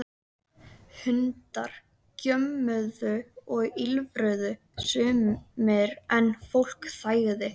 Svona nú ertu búinn, sagði Dóri ákveðið.